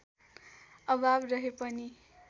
अभाव रहे पनि